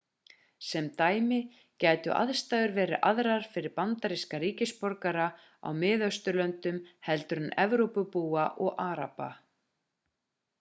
sem dæmi gætu aðstæður verið aðrar fyrir bandaríska ríkisborgara í miðausturlöndum heldur en evrópubúa og araba